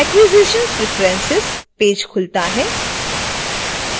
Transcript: acquisitions preferences page खुलता है